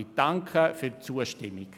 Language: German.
Ich danke für die Zustimmung.